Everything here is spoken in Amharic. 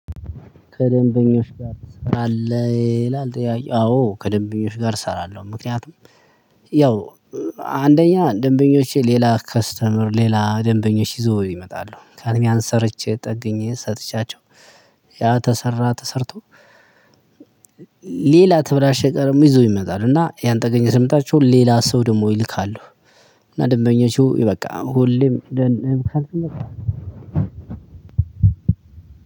ከደንበኞች ጋር ትሰራለህ? ይላል ትያቄው አዎ ከደንበኞች ጋር እሰራለሁ። ምክንያቱም ያው አንደኛ ደንበኞቼ ሌላ ከስተመር ሌላ ደንበኞች ይዞ ይመጣሉ ካሉም ያነደ ሰርቼ ጠግኜ ሰጥቻቸው። ያ ተሰራ ተሰርቶ ሌላ የተበላሽ እቃ ይዞ ይመጣል እና ያን ጠግኜ ስመጣቸው ሌላ ሰው ደግሞ ይልካሉ። እና ደንበኞቹ በቃ ሁሌም